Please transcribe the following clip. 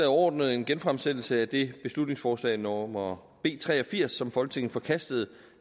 overordnet en genfremsættelse af det beslutningsforslag nummer b tre og firs som folketinget forkastede